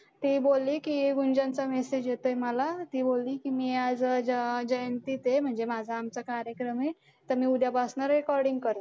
ते बोलले की message येतोय मला ती बोलली की आज म्हणजे माझा आमचा कार्यक्रम आहे तर मी उद्यापासनं recording करू.